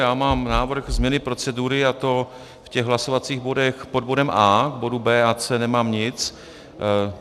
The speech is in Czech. Já mám návrh změny procedury, a to v těch hlasovacích bodech pod bodem A, k bodu B a C nemám nic.